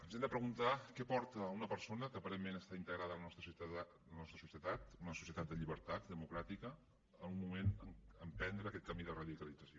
ens hem de preguntar què porta una persona que aparentment està integrada en la nostra societat una societat de llibertat democràtica a en algun moment emprendre aquest camí de radicalització